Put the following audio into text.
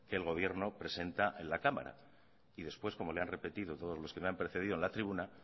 que el gobierno presenta en la cámara y después como le han repetido todos los que me han precedido en la tribuna